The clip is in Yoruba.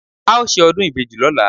a o ṣe ọdún ìbejí lọla